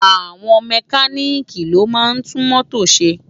Awòn Mèkánìkí ló má ntú mótó sé